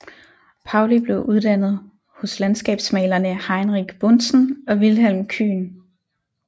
Paulli blev uddannet hos landskabsmalerne Heinrich Buntzen og Vilhelm Kyhn